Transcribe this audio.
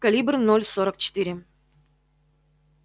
калибр ноль сорок четыре